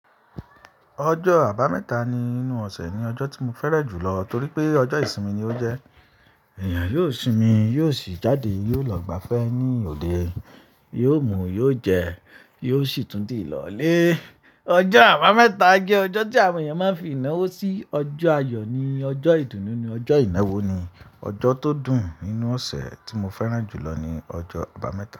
Ọjọ́ Àbámẹ́ta ní inú ọ̀sẹ̀ ni ọjọ́ tí mo fẹ́rẹ̀ jùlọ, torí pé ọjọ́ ìsinmi ni ó jẹ́. Èèyàn yóò sinmi, yóò sì jáde, yóò lọ gbá fẹ́ ní òde, yóò mu, yóò jẹ, yóò sì tún di ìlọ̀ le. Ọjọ́ Àbámẹ́ta jẹ́ ọjọ́ tí àwọn èèyàn máa ń fi ìnáwó sí, ọjọ́ àyọ̀ ni, ọjọ́ ìdùnnú ni, ọjọ́ ìnáwó ni. Ọjọ́ tó dùn nínú ọ̀sẹ̀ tí mo fẹ́rẹ̀ jùlọ ni ọjọ́ Àbámẹ́ta.